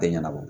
Tɛ ɲɛnabɔ